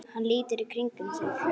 Hann lítur í kringum sig.